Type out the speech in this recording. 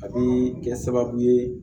A bi kɛ sababu ye